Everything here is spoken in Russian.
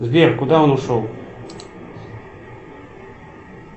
сбер куда он ушел